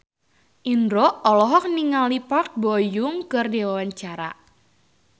Indro olohok ningali Park Bo Yung keur diwawancara